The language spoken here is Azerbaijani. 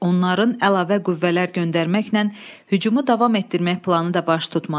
Onların əlavə qüvvələr göndərməklə hücumu davam etdirmək planı da baş tutmadı.